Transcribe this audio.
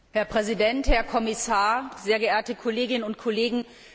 Herr Präsident, Herr Kommissar, sehr geehrte Kolleginnen und Kollegen!